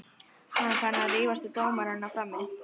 Var hann farinn að rífast við dómarana frammi?